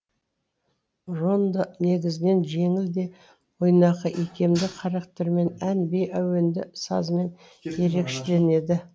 рондо негізінен жеңіл де ойнақы икемді характерімен ән би әуенді сазымен ерекшеленеді